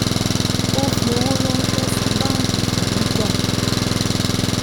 ó fi owó ranṣẹ́ sí báńkì fún gbígbà